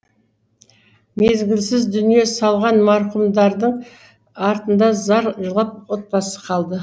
мезгілсіз дүние салған марқұмдардың артында зар жылап отбасы қалды